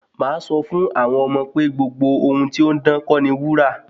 Màá sọ fún àwọn ọmọ pé gbogbo ohun tí ó ń dán kọ́ ni wúrà